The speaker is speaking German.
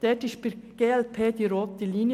Dort ist für die glp die rote Linie.